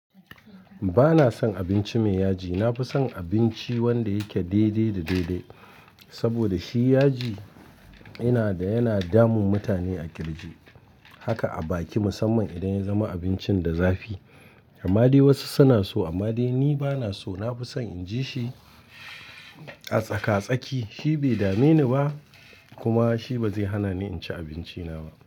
Ba na son abinci mai yaji. Na fi son abinci wanda yake daidai da daidai. Saboda shi yaji yana da yana damun mutane a kirji. Haka a baki musamman idan ya zama abincin da zafi. Amma dai wasu suna so amma dai ni ba na so. Na fi son in ji shi a tsaka-tsaki. Shi bai dame ni ba kuma shi ba zai hana ni in ci abinci na ba.